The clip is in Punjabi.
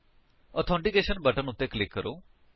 ਆਥੈਂਟੀਕੇਸ਼ਨ ਬਟਨ ਉੱਤੇ ਕਲਿਕ ਕਰੋ